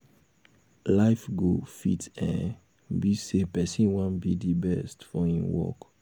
life goal fit um be sey person wan be um di best um for im work